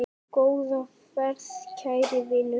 Góða ferð, kæri vinur.